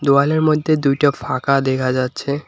দোওয়ালের মধ্যে দুইটো ফাঁকা দেখা যাচ্ছে।